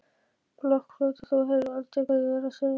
blokkflauta, þú heyrir aldrei hvað ég er að segja.